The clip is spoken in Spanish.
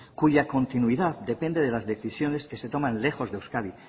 cuya continuidad depende de las decisiones que se toman lejos de euskadi